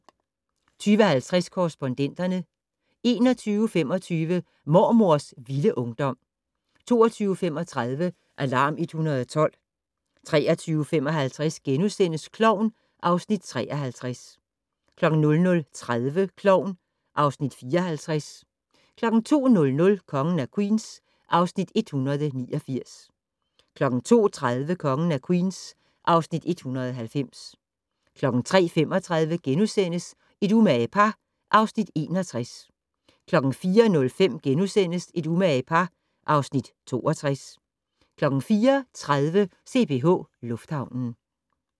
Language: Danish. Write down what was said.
20:50: Korrespondenterne 21:25: Mormors vilde ungdom 22:35: Alarm 112 23:55: Klovn (Afs. 53)* 00:30: Klovn (Afs. 54) 02:00: Kongen af Queens (Afs. 189) 02:30: Kongen af Queens (Afs. 190) 03:35: Et umage par (Afs. 61)* 04:05: Et umage par (Afs. 62)* 04:30: CPH Lufthavnen